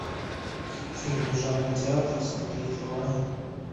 фильмы жанра театр смотреть онлайн